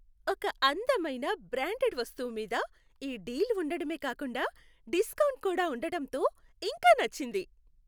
ఒక అందమైన బ్రాండడ్ వస్తువు మీద ఈ డీల్ ఉండడమే కాకుండా డిస్కౌంట్ కూడా ఉండటంతో ఇంకా నచ్చింది.